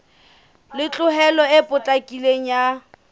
le tlhokeho e potlakileng ya